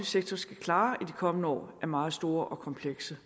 sektor skal klare i kommende år er meget store og komplekse